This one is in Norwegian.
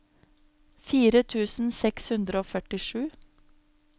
fire tusen seks hundre og førtisju